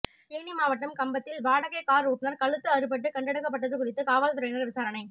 தேனி மாவட்டம் கம்பத்தில் வாடகை கார் ஓட்டுநர் கழுத்து அறுபட்டு கண்டெடுக்கப்பட்டது குறித்து காவல்துறையினர் விசாரணை